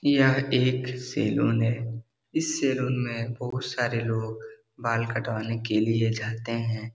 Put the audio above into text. यह एक सैलून है इस सैलून में बहुत सारे लोग बाल कटवाने के लिए जाते हैं।